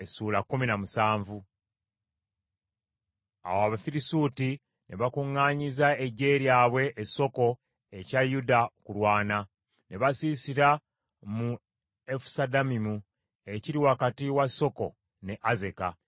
Awo Abafirisuuti ne bakuŋŋaanyiza eggye lyabwe e Soko ekya Yuda okulwana. Ne basiisira mu Efusudammimu ekiri wakati wa Soko ne Azeka.